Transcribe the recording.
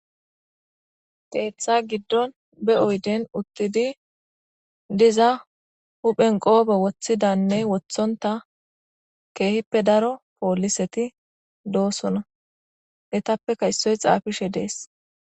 Keeththa giddon be oyden uttidi diza huphen qoobe woththidanne wothonta keehippe daro pooliseti doosona etappeka issoy xaafishe dees.